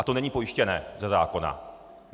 A to není pojištěné ze zákona.